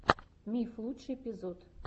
миф лучший эпизод